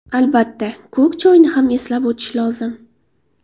Albatta, ko‘k choyni ham eslab o‘tish lozim.